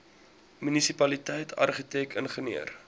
munisipaliteit argitek ingenieur